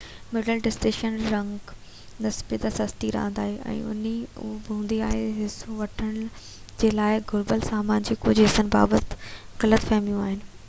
middle distance running نسبتاً سستي راند آهي ان هوندي بہ حصو وٺڻ جي لاءِ گهربل سامان جي ڪجهہ حصن بابت غلط فهميون آهن